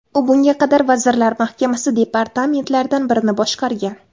U bunga qadar Vazirlar Mahkamasi departamentlaridan birini boshqargan.